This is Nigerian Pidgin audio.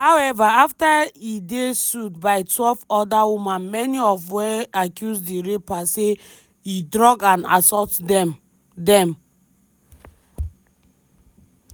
however afta e dey sued by12 oda women many of wey accuse di rapper say e drug and assault dem. dem.